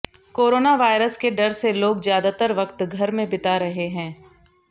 corona virus के डर से लोग ज्यादातर वक्त घर में ही बिता रहे हैं